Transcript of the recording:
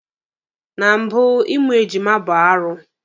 Na mbụ, Ịmụ ejima bụ arụ.